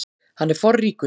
Hann er forríkur.